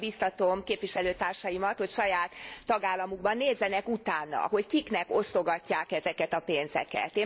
Én arra biztatom képviselőtársaimat, hogy saját tagállamukban nézzenek utána, hogy kiknek osztogatják ezeket a pénzeket.